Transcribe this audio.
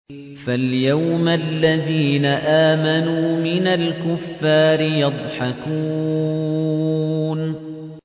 فَالْيَوْمَ الَّذِينَ آمَنُوا مِنَ الْكُفَّارِ يَضْحَكُونَ